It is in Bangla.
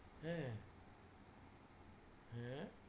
হ্যাঁ, হ্যাঁ